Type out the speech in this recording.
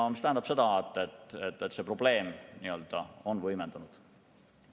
Mis tähendab seda, et see probleem on võimendunud.